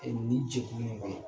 ni jɛkulu in kɔnɔ.